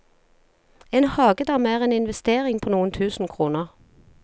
En hagedam er en investering på noen tusen kroner.